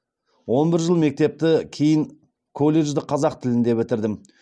он бір жыл мектепті кейін колледжді қазақ тілінде бітірдім